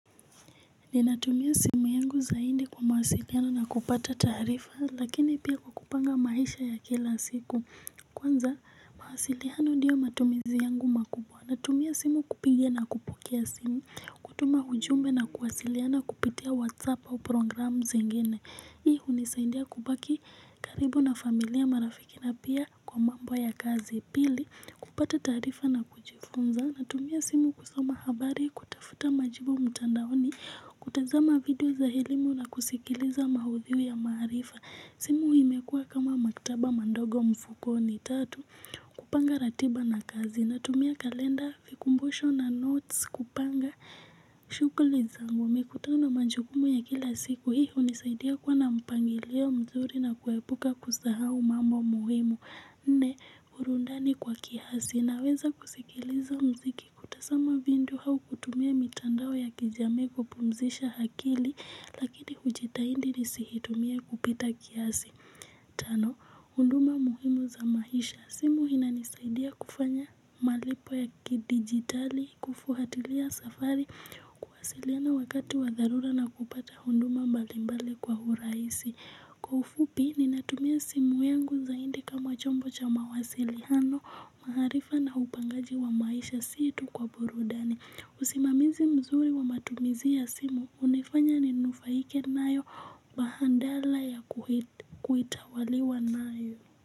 Ninatumia simu yangu zaidi kwa mawasiliano na kupata taarifa lakini pia kwa kupanga maisha ya kila siku. Kwanza mawasiliano ndiyo matumizi yangu makubwa. Natumia simu kupiga na kupokea simu. Kutuma ujumbe na kuwasiliana kupitia whatsapp au programu zingine hii hunisaidia kubaki karibu na familia marafiki na pia kwa mambo ya kazi. Pili kupata taarifa na kujifunza. Natumia simu kusoma habari, kutafuta majibu mtandaoni, kutazama video za elimu na kusikiliza maudhui ya marifa. Simu hii imekuwa kama maktaba mandogo mfukoni tatu, kupanga ratiba na kazi. Natumia kalenda, vikumbusho na notes, kupanga, shughuli zangu mikutano na majukumu ya kila siku. Hii hunisaidia kuwa na mpangilio mzuri na kuepuka kusahau mambo muhimu. Nne burudani kwa kiasi naweza kusikiliza mziki kutazama video au kutumia mitandao ya kijamii kupumzisha akili lakini hujitahidi nisiitumie kupita kiasi. Tano huduma muhimu za maisha simu inanisaidia kufanya malipo ya kidigitali kufuatilia safari kuwasiliana wakati wa dharura na kupata huduma mbalimbali kwa urahisi kwa ufupi ninatumia simu yangu zaidi kama chombo cha mawasiliano maarifa na upangaji wa maisha si tu kwa burudani usimamizi mzuri wa matumizi ya simu hunifanya ninufaike nayo badala ya kuitawaliwa nayo.